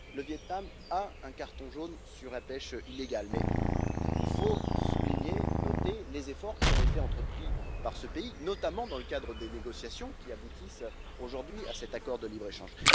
Le Viêt Nam a un carton jaune sur la pêche illégale, mais il faut souligner les efforts qui ont été entrepris par ce pays, notamment dans le cadre des négociations qui aboutissent aujourd'hui à cet accord de libre échange.